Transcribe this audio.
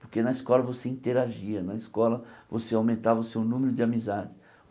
Porque na escola você interagia, na escola você aumentava o seu número de amizades.